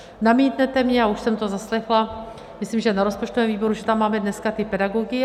Namítnete mně, a už jsem to zaslechla, myslím, že na rozpočtovém výboru, že tam máme dneska ty pedagogy.